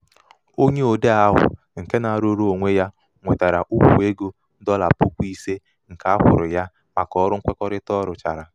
onye odee ahụ nke um na-arụrụ onwe ya nwetara ukwu ego dọla puku ise nke um a kwụrụ ya maka ọrụ nkwekọrịta um ọ rụchara.